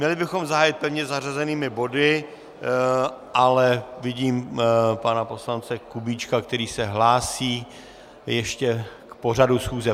Měli bychom zahájit pevně zařazenými body, ale vidím pana poslance Kubíčka, který se hlásí ještě k pořadu schůze.